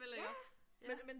Ja ja. Ja